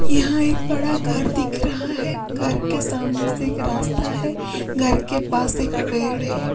यहां एक बड़ा घर दिख रहा है घर के सामने से एक रास्ता है घर के पास एक पेड़ है।